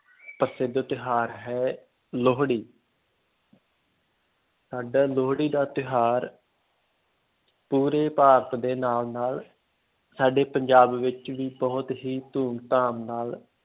ਪ੍ਰਸਿੱਧ ਤਿਉਹਾਰ ਹੈ ਲੋਹੜੀ ਸਾਡਾ ਲੋਹੜੀ ਦਾ ਤਿਉਹਾਰ ਪੂਰੇ ਭਾਰਤ ਦੇ ਨਾਲ ਨਾਲ ਸਾਡੇ ਪੰਜਾਬ ਵਿੱਚ ਵੀ ਬਹੁਤ ਹੀ ਧੂਮ ਧਾਮ ਨਾਲ